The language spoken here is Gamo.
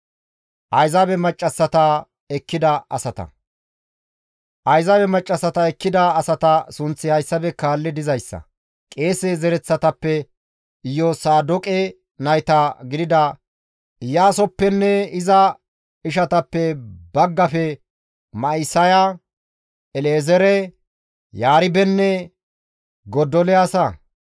Ayzaabe maccassata ekkida asata sunththi hayssafe kaalli dizayssa; qeese zereththatappe, Iyosaadoqe nayta gidida Iyaasoppenne iza ishatappe baggafe Ma7isaya, El7ezeere, Yaribenne Godoliyaasa;